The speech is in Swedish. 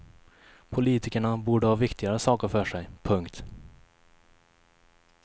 Politikerna borde ha viktigare saker för sig. punkt